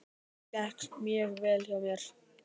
Það gekk mjög vel hjá mér.